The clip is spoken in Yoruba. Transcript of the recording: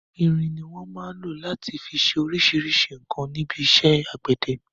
Irin ni wọn máa ń rọ láti fi ṣe oríṣríṣi nǹkan níbi iṣẹ́ àgbẹ̀dẹ.